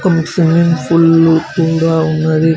దీనికి swimming pool కూడా ఉన్నది.